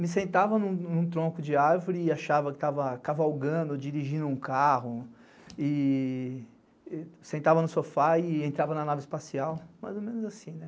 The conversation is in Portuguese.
me sentava num tronco de árvore e achava que estava cavalgando, dirigindo um carro, e sentava no sofá e entrava na nave espacial, mais ou menos assim, né?